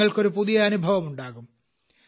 നിങ്ങൾക്ക് ഒരു പുതിയ അനുഭവം ഉണ്ടാകും